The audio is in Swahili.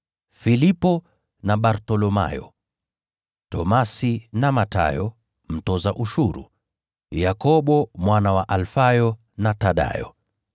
Filipo, na Bartholomayo; Tomaso, na Mathayo mtoza ushuru; Yakobo mwana wa Alfayo, na Thadayo;